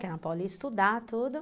Que a Ana Paula ia estudar, tudo.